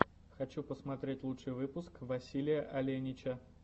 хочу посмотреть лучший выпуск василия оленича